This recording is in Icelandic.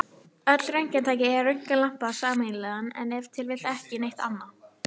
Öll röntgentæki eiga röntgenlampann sameiginlegan, en ef til vill ekki neitt annað!